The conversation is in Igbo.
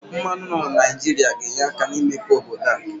Mmanụ nọ na Naijiria ga-enye aka n'imepe obodo a.